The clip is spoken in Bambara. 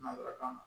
Nanzarakan na